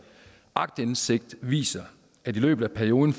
aktindsigt viser at i løbet af perioden